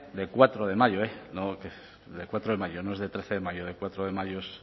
de cuatro de mayo la de cuatro de mayo no es de trece de mayo de cuatro de mayo es